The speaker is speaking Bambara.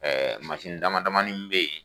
dama damani bɛ ye.